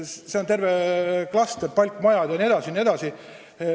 See on terve klaster: palkmajad, jne, jne.